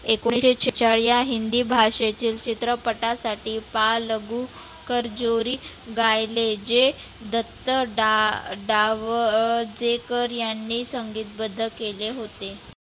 एकोणीसशे सेहचाळ या हिंदी भाषेचे चित्रपटसाठी बाल लघु कर्जोरी गायले जे दत्ता डा जावडेकर यांनी संगितबद्ध केले होते.